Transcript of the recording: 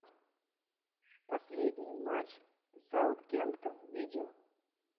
последний матч саутгемптон видео